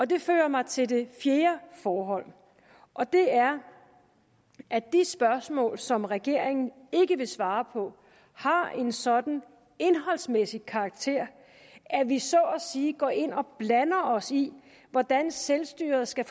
det fører mig til det fjerde forhold og det er at de spørgsmål som regeringen ikke vil svare på har en sådan indholdsmæssig karakter at vi så at sige går ind og blander os i hvordan selvstyret skal